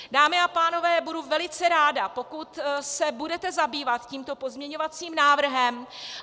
Dámy a pánové, budu velice ráda, pokud se budete zabývat tímto pozměňovacím návrhem.